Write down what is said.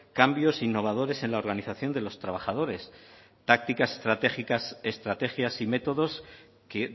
cambios innovadores en la organización de los trabajadores tácticas estratégicas estrategias y métodos que